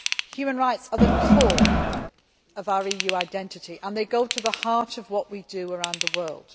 Human rights are the core of our EU identity and they go to the heart of what we do around the world.